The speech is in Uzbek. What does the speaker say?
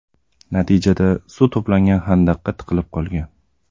Natijada suv to‘plangan xandaqqa tiqilib qolgan.